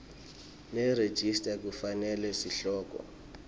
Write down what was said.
nerejista kufanele sihloko